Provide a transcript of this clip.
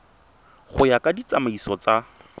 go ya ka ditsamaiso tsa